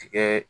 Tigɛ